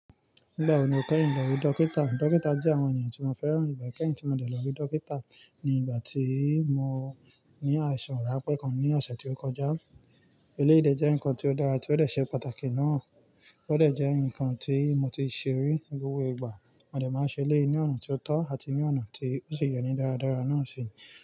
Nígbà wo ni o kẹ́yin lọ rí dókítà? Dókítà jẹ́ àwọn ènìyàn tí mo fẹ́ràn. Ìgbà kẹ́yin tí mo dé lọ rí dókítà ni ìgbà tí mo ní àìsàn rànpẹ́ kan ní ọ̀sẹ̀ tí ó kọjá. Eléyii dè jẹ́ nǹkan tí ó dára tí ó dẹ̀ ṣe pàtàkì náà. Ó dẹ̀ jẹ́ nǹkan tí mo ti ṣerí ngbogbo igba. Mo dé máa ń ṣe eléyii ní ọ̀nà tó tọ́ àti ní ọ̀nà tí ó sì yẹni dáradára náà ṣi.